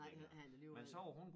Nej han han ikke have den alligevel